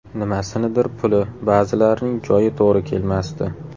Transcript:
Nimasinidir puli, ba’zilarining joyi to‘g‘ri kelmasdi.